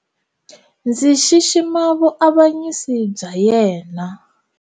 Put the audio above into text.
Ndzi xixima vuavanyisi bya yena.